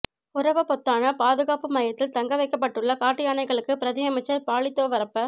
ஹொரவபொத்தான பாதுகாப்பு மையத்தில் தங்க வைக்கப்பட்டுள்ள காட்டு யானைகளுக்கு பிரதியமைச்சர் பாலித தெவரப்ப